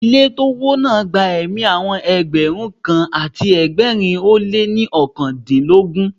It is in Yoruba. Ilé tó wó náà gba ẹ̀mí àwọn Ẹgbẹ̀rún kan àti ẹgbẹ̀rin ó lé ní oókan dín lógún.